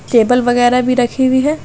Table वगैरा भी रखी हुई है।